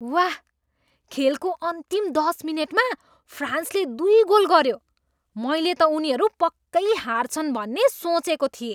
वाह! खेलको अन्तिम दस मिनेटमा फ्रान्सले दुई गोल गऱ्यो। मैले त उनीहरू पक्कै हार्छन् भन्ने सोचेको थिएँ।